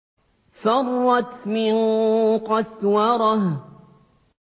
فَرَّتْ مِن قَسْوَرَةٍ